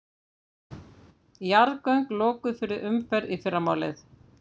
Jarðgöng lokuð fyrir umferð í fyrramálið